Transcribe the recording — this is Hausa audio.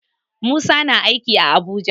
Musa na aiki a Abuja.